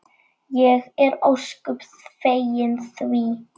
Ég er ósköp fegin því.